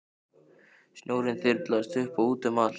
Snjórinn þyrlaðist upp og út um allt.